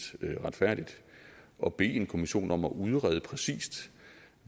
retfærdigt at bede en kommission om at udrede præcist